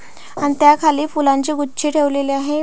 आणि त्या खाली फुलांची गुछी ठेवलेली आहे.